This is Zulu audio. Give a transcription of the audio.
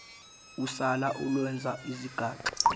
usala olwenza izigaxa